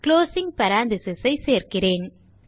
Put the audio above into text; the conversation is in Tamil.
குளோசிங் parenthesis ஐ சேர்க்கிறேன்